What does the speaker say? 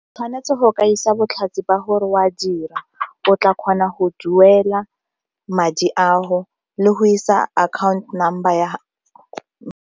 Tshwanetse go ka isa botlhatsi ba gore o a dira o tla kgona go duela madi ao le go isa account number ya.